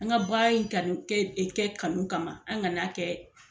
An ka baara in kanu kɛ kanu kama an ka n'a kɛ